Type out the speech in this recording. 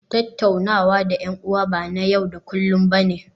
Tattaunawa da 'yan'uwa ba na yau da kullun ba ne